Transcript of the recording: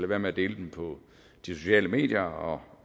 være med at dele dem på de sociale medier og